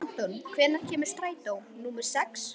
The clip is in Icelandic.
Anton, hvenær kemur strætó númer sex?